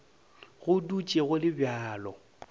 go dutše go le bjalo